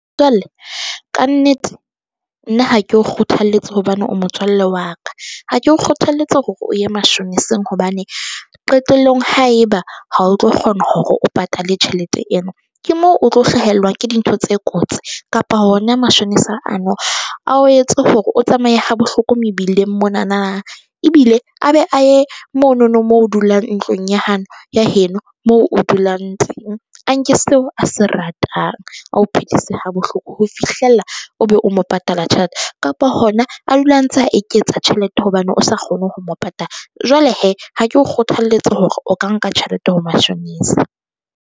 Jwale ka nnete nna ha ke o kgothaletse hobane o motswalle wa ka ha ke o kgothalletse hore o ye mashoneseng hobane qetellong haeba ha o tlo kgona hore o patale tjhelete ena, ke moo o tlo hlahelwa ke dintho tse kotsi kapa hona mashonesa ano a o etse hore o tsamaye ha bohloko mebileng mona na. Ebile a be aye mono no moo dulang ntlong ya ya heno moo o dulang teng. A nke seo a se ratang. A o phedise ha bohloko ho fihlella, o be o mo patala tjhelete kapa hona a dule a ntse a eketsa tjhelete hobane o sa kgone ho mo patala. Jwale he ha ke o kgothaletse hore o ka nka tjhelete ho mashonesa.